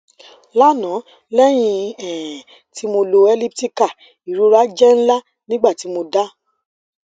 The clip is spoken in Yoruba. lana lẹhin um ti mo lò elliptical irora jẹ nla nigbati mo dá